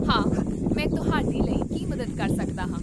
ਹਾਂ ਮੈਂ ਤੁਹਾਡੀ ਲਈ ਕੀ ਮਦਦ ਕਰ ਸਕਦਾ ਹਾਂ?